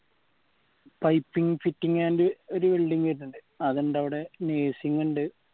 piping fitting and ഒരു welding വേരിന്നിൻഡ് അത് ഉണ്ട് അവിടെ പിന്നെ ഉണ്ട്